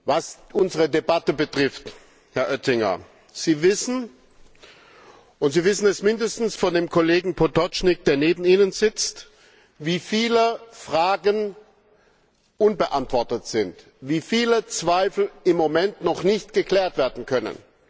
Was unsere Debatte betrifft, Herr Oettinger, Sie wissen und Sie wissen es zumindest von dem Kollegen Potočnik, der neben Ihnen sitzt, wie viele Fragen unbeantwortet sind und wie viele Zweifel im Moment noch nicht ausgeräumt werden können.